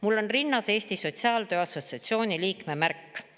Mul on rinnas Eesti Sotsiaaltöö Assotsiatsiooni liikme märk.